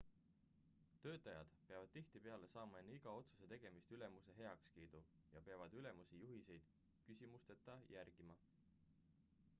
töötajad peavad tihtipeale saama enne iga otsuse tegemist ülemuse heakskiidu ja peavad ülemuse juhiseid küsimusteta järgima